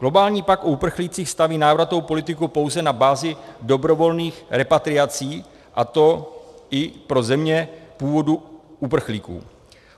Globální pakt o uprchlících staví návratovou politiku pouze na bázi dobrovolných repatriací, a to i pro země původu uprchlíků.